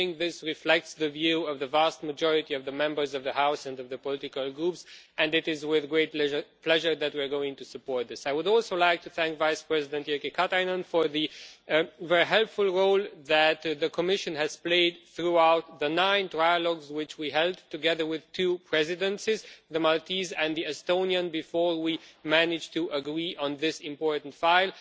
I think this reflects the view of the vast majority of the Members of the House and of the political groups, and it is with great pleasure that we are going to support this. I would also like to thank Vice-President Jyrki Katainen for the very helpful role that the Commission has played throughout the nine trialogues which we held together with two Presidencies, the Maltese and the Estonian, before we managed to agree on this important file.